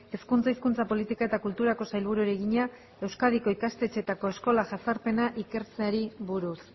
hezkuntza hizkuntza politika eta kulturako sailburuari egina euskadiko ikastetxeetako eskola jazarpena ikertzearia buruz